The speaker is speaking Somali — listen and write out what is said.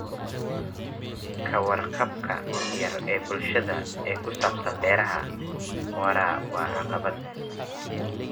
Ka warqabka yar ee bulshada ee ku saabsan beeraha waara waa caqabad.